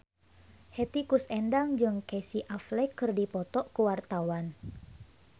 Hetty Koes Endang jeung Casey Affleck keur dipoto ku wartawan